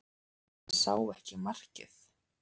Hann sá ekki markið